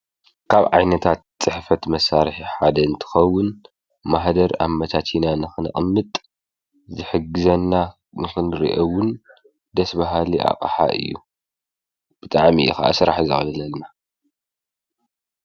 ካብ ዓይነታት ፅሕፈት መሳርሒ ሓደ እንትኸውን ማህደር አምቻቺና ንክነቀምጥ ዝሕግዘና ንክንሪኦ እውን ደስ በሃሊ አቅሓ እዩ። ብጣዕሚ እዩ ከዓ ስራሕ ዘቅልለልና።